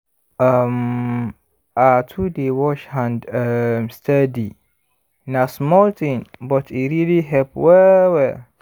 um ah to dey wash hand um steady na small thing but e really help well-well